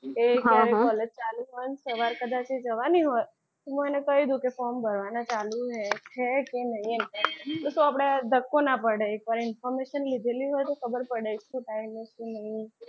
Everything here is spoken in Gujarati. એ college ચાલુ જ છે પણ સવારે કદાચ એ જવાની હોય તો મને કહી દે કે form ભરવાના ચાલુ છે કે નહીં. એમ તો શું આપણે ધક્કો ના પડે information લીધેલી હોય તો ખબર પડે શું time છે શું નહીં.